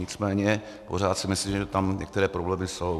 Nicméně pořád si myslím, že tam některé problémy jsou.